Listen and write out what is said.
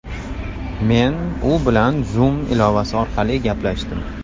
Men u bilan Zoom ilovasi orqali gaplashdim.